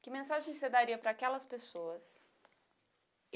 Que mensagem você daria para aquelas pessoas?